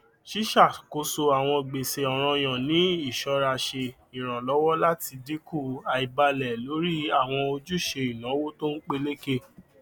ṣíṣàkóso àwọn gbèsè ọrànyàn ní iṣọra ṣe iranlọwọ láti dínkù àìbálẹ lórí àwọn ojúṣe ináwó tó n peléke